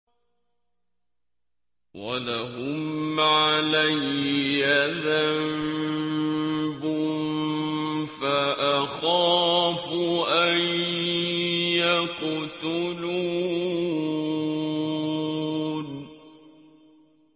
وَلَهُمْ عَلَيَّ ذَنبٌ فَأَخَافُ أَن يَقْتُلُونِ